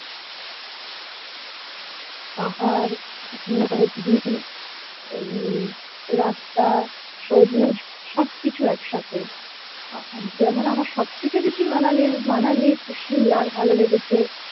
পাহাড় নদী রাস্তা সবুজ সবকিছু একসাথে আহ যেমন আমার সবথেকে বেশি manali ইর manali ইর চেয়ে shimla র ভালো লেগেছে